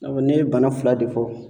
N'a fɔ ne ye bana fila de fɔ.